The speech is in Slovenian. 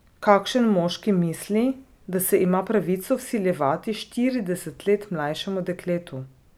Kakšen moški misli, da se ima pravico vsiljevati štirideset let mlajšemu dekletu?